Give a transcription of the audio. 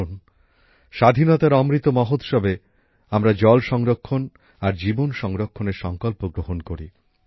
আসুন স্বাধীনতার অমৃত মহোৎসবে আমরা জল সংরক্ষণ আর জীবন সংরক্ষণের সংকল্প গ্রহণ করি